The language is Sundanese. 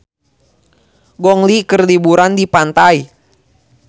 Gong Li keur liburan di pantai